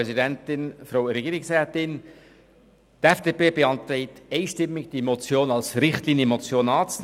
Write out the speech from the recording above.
Die FDP-Fraktion beantragt einstimmig, die Motion als Richtlinienmotion anzunehmen.